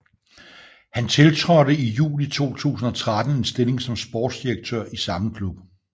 Han tiltrådte i juli 2013 en stilling som sportsdirektør i samme klub